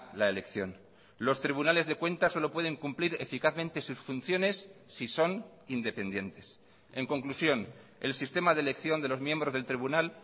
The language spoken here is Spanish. la elección los tribunales de cuentas solo pueden cumplir eficazmente sus funciones si son independientes en conclusión el sistema de elección de los miembros del tribunal